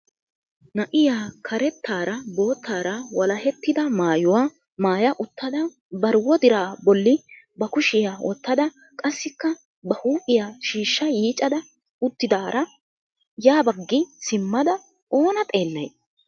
na'iyaa karettaara boottaara walahettida maayyuwa maayya uttada bari wodira bolli ba kushiyaa wottada qassikka ba huuphiyaa shiishsha yiiccada uttidaara ya baggi simmada oonaa xeelay?